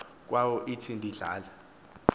kwayo ithi ndidla